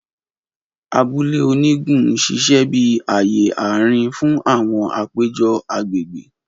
Abule onigun n ṣiṣẹ bi aaye aarin fun awọn apejọ agbegbe.